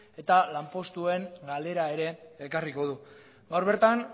eta lanpostuen galera ere ekarriko du gaur bertan